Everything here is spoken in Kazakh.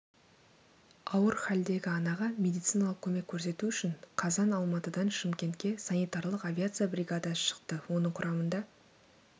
ауыр халдегі анаға медициналық көмек көрсету үшін қазан алматыдан шымкентке санитарлық авиация бригадасы шықты оның құрамында